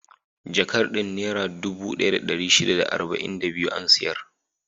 Jakar din Nera dubu ɗaya da ɗari shida da arba'in da biyu an siyar.